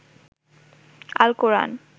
আল কোরআন